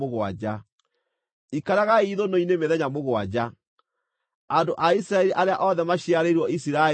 Ikaragai ithũnũ-inĩ mĩthenya mũgwanja. Andũ a Isiraeli arĩa othe maciarĩirwo Isiraeli magaaikaraga ithũnũ-inĩ,